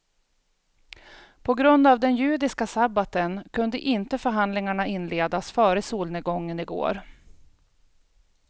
På grund av den judiska sabbaten kunde inte förhandlingarna inledas före solnedgången igår.